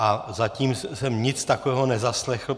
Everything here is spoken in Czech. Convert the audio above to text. A zatím jsem nic takového nezaslechl.